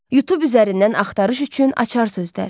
YouTube üzərindən axtarış üçün açar sözlər.